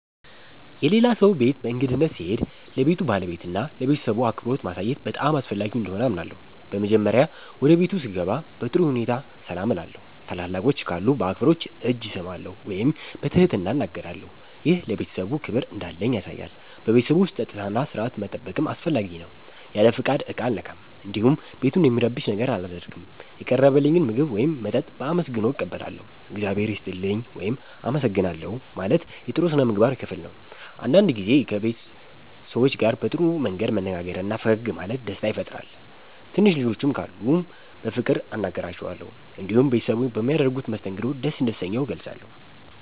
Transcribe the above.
የሌላ ሰው ቤት በእንግድነት ስሄድ ለቤቱ ባለቤትና ለቤተሰቡ አክብሮት ማሳየት በጣም አስፈላጊ እንደሆነ አምናለሁ። በመጀመሪያ ወደ ቤቱ ስገባ በጥሩ ሁኔታ ሰላም እላለሁ። ታላላቆች ካሉ በአክብሮት እጅ እሰማለሁ ወይም በትህትና እናገራለሁ። ይህ ለቤተሰቡ ክብር እንዳለኝ ያሳያል። በቤቱ ውስጥ ጸጥታና ሥርዓት መጠበቅም አስፈላጊ ነው። ያለ ፍቃድ ዕቃ አልነካም፣ እንዲሁም ቤቱን የሚረብሽ ነገር አላደርግም። የቀረበልኝን ምግብ ወይም መጠጥ በአመስግኖ እቀበላለሁ። “እግዚአብሔር ይስጥልኝ” ወይም “አመሰግናለሁ” ማለት የጥሩ ሥነ ምግባር ክፍል ነው። አንዳንድ ጊዜ ከቤት ሰዎች ጋር በጥሩ መንገድ መነጋገርና ፈገግ ማለት ደስታ ይፈጥራል። ትንሽ ልጆች ካሉም በፍቅር አናግራቸዋለሁ። እንዲሁም ቤተሰቡ በሚያደርጉት መስተንግዶ ደስ እንደተሰኘሁ እገልጻለሁ።